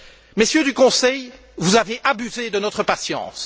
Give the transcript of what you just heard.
Messieurs du Conseil, vous avez abusé de notre patience.